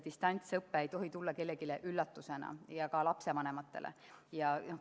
Distantsõpe ei tohi tulla kellelegi üllatusena, ka lapsevanematele mitte.